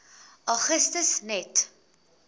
augustus net